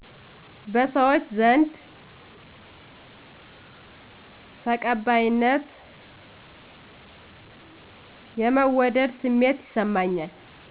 በሰዎች ዘንድ ተቀባይነት/የመወደድ ስሜት ይሰማኛል